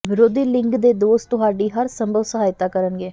ਵਿਰੋਧੀ ਲਿੰਗ ਦੇ ਦੋਸਤ ਤੁਹਾਡੀ ਹਰ ਸੰਭਵ ਸਹਾਇਤਾ ਕਰਨਗੇ